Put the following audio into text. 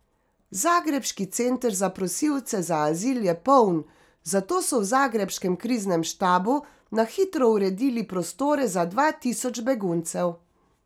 Zagrebški center za prosilce za azil je poln, zato so v zagrebškem kriznem štabu na hitro uredili prostore za dva tisoč beguncev.